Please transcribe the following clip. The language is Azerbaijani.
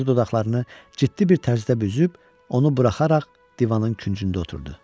Yumru dodaqlarını ciddi bir tərzdə büzüb onu buraxaraq divanın küncündə oturdu.